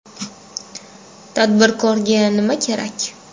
Tadbirkorga nima kerak?